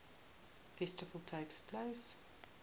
festival takes place